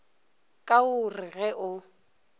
ka o re ge o